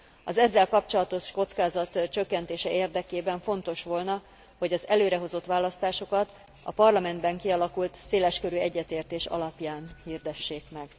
Az ezzel kapcsolatos kockázat csökkentése érdekében fontos volna, hogy az előrehozott választásokat a Parlamentben kialakult széleskörű egyetértés alapján hirdessék